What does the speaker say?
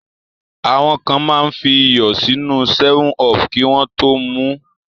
Àwọn kan máa ń fi iyọ̀ sínú 7up kí wọ́n tó mu ú.